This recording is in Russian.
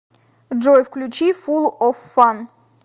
джой включи фул оф фан